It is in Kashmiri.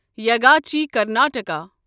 یاگاچی کرناٹکا